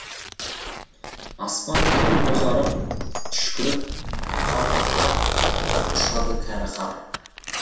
аспан тұр бозарып түшкіріп қалпақтап ұшады кәрі қар